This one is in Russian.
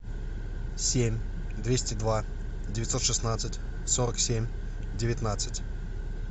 семь двести два девятьсот шестнадцать сорок семь девятнадцать